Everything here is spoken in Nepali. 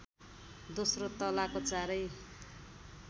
दोस्रो तलाको चारै